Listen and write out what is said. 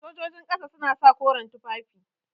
Sojojin ƙasa kayan suna sa koren tufafin aiki.